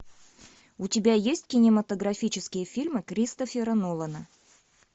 у тебя есть кинематографические фильмы кристофера нолана